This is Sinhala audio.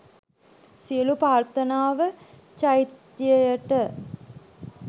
සියලු ප්‍රාර්ථනාව චෛත්‍යයට